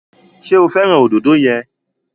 Ṣé o fẹ́ràn òdòdó yẹn?